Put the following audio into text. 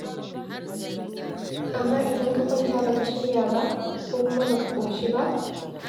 Amma idan ka kwanta ba ka shirya ba, ko kuma ba ka ƙoshi ba,